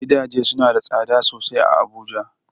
Gidaje suna da tsada sosai a Abuja.